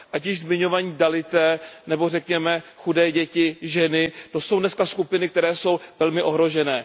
Ať již zmiňovaní dalitové, nebo řekněme chudé děti, ženy, to jsou dneska skupiny, které jsou velmi ohroženy.